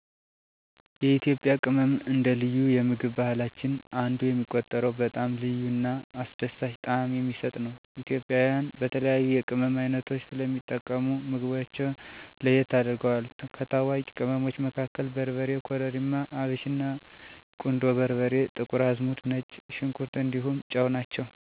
የኢትዮጵያ ቅመም አንደ ልዩ የምግብ ባህላችን አንዱ የሚቆጠረው በጣም ልዩ እና አስደሳች ጣዕም የሚሰጥ ነው። ኢትዮጵያውያን በተለያዩ የቅመም ዓይነቶች ስለሚጠቀሙ ምግባቸውን ለየት ያደርገዋል። ከታዋቂ ቅመሞቹ መካከል በርበሬ, ኮረሪማ፣ አብሽና, ቁንዶ በርበሬ፣ ጥቁር አዝሙድ፣ ነጭ ሽንኩር እንዲሁም ጨው ናቸው። በእነዚህ ቅመሞች የተቀመመ የኢትዮጵያ ምግብ በሽታ ያስታውቃል፣ ለዳቦ፣ ለሻይ እና ለወጥ የሚያስፈልጉ ቅመምች ደግም ከነዚህ የተለዮ ናቸው። ቅመማ ቅመም በኢትዮጵያ የምግብ ባህል መሰረት ነው፤ የምግብ ጤናን፣ ጣዕምን እና አስደሳችነቱን የሚጨምር ሃብት ነው። እነዚህ ቅመሞች የኢትዮጵያ ምግብን ከሌላ የዓለም ምግብ ዘዴ በግልጽ ሁኔታ የሚለዩት የባህላዊ ባህላችን አካል ናቸው።